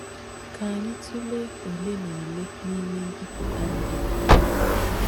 Ká ányì tùleé óle nà óle n’íme m̀bìpútà ndí à.